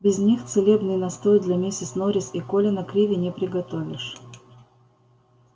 без них целебный настой для миссис норрис и колина криви не приготовишь